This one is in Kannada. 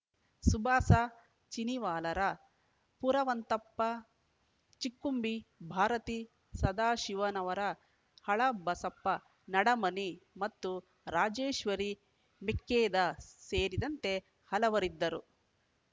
ಸುಭಾಸ ಚಿನಿವಾಲರ ಪುರವಂತಪ್ಪ ಚಿಕ್ಕುಂಬಿ ಭಾರತಿ ಸದಾಶಿವನವರ ಹಳಬಸಪ್ಪ ನಡಮನಿ ಮತ್ತು ರಾಜೇಶ್ವರಿ ಮೆಕ್ಕೇದ ಸೇರಿದಂತೆ ಹಲವರಿದ್ದರು